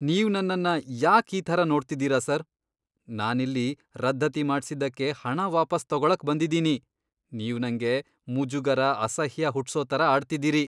ನೀವ್ ನನ್ನನ್ನ ಯಾಕ್ ಈ ಥರ ನೋಡ್ತಿದೀರ ಸರ್? ನಾನಿಲ್ಲಿ ರದ್ದತಿ ಮಾಡ್ಸಿದ್ದಕ್ಕೆ ಹಣ ವಾಪಸ್ ತಗೊಳಕ್ ಬಂದಿದೀನಿ. ನೀವ್ ನಂಗೆ ಮುಜುಗರ, ಅಸಹ್ಯ ಹುಟ್ಸೋ ಥರ ಆಡ್ತಿದೀರಿ.